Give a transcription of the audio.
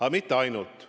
Aga mitte ainult.